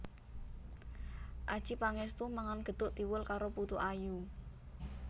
Adjie Pangestu mangan gethuk tiwul karo putu ayu